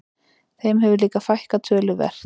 Þeim hefur líka fækkað töluvert